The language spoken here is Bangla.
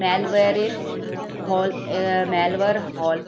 malware র হল আহ malware হল